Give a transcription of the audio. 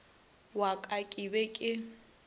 wa ka ke be ke